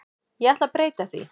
Ég ætla breyta því.